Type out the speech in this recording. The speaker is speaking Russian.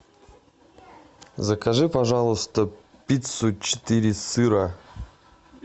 закажи пожалуйста пиццу четыре сыра